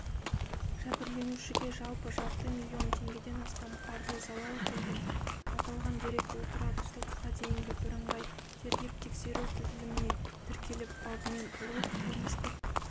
жәбірленушіге жалпы жарты миллион теңгеден астам қаржы залал келген аталған дерек отырар сотқа дейінгі бірыңғай тергеп-тексеру тізіліміне тіркеліп бабымен ұрлық қылмыстық